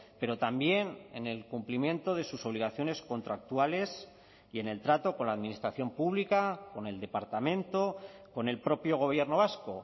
pero también en el cumplimiento de sus obligaciones contractuales y en el trato con la administración pública con el departamento con el propio gobierno vasco